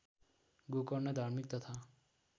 गोकर्ण धार्मिक तथा